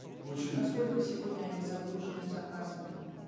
очень на сколько сегодня они загружены заказами